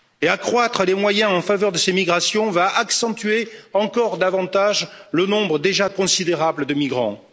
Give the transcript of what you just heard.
Accroître les moyens en faveur de ces migrations accentuera encore davantage le nombre déjà considérable de migrants.